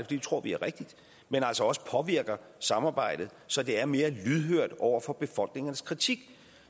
det tror vi er rigtigt men altså også påvirker samarbejdet så det er mere lydhørt over for befolkningernes kritik